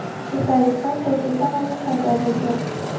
Shu tariqa To‘ytepa nomi paydo bo‘lgan.